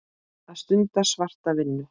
Að stunda svarta vinnu.